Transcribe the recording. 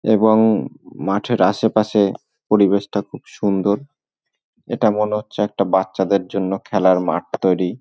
এবং মাঠের আশেপাশে পরিবেশটা খুব সুন্দর এটা মনে হচ্ছে একটা বাচ্চাদের জন্য খেলার মাঠ তৈরি --